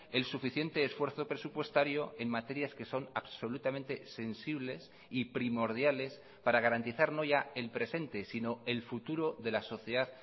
el suficiente esfuerzo presupuestario en materias que son absolutamente sensibles y primordiales para garantizar no ya el presente sino el futuro de la sociedad